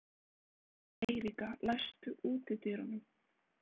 Eiríka, læstu útidyrunum.